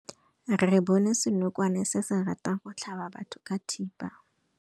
Re bone senokwane se se ratang go tlhaba batho ka thipa.